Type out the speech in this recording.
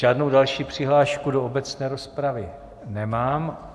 Žádnou další přihlášku do obecné rozpravy nemám.